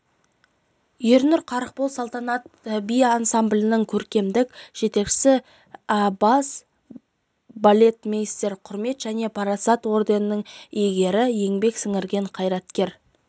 ернұр қарықбол салтанат би ансамблінің көркемдік жетекшісі-бас балетмейстер құрмет және парасат ордендерінің иегері еңбек сіңірген қайраткер